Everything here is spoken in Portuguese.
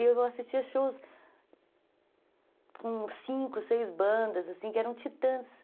Eu assistia shows com cinco, seis bandas, assim, que eram titãs.